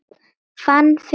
Fann fyrir húfu